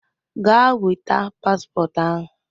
Gaa weta paspọtụ ahụ